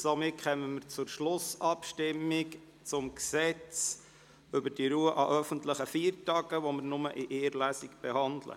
Somit kommen wir zu Schlussabstimmung über das Gesetz, welches wir in nur einer Lesung behandeln.